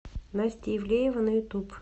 настя ивлеева на ютуб